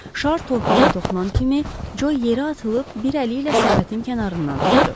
Şar torpağa toxunan kimi Co yerə atılıb bir əli ilə səbətin kənarından tutdu.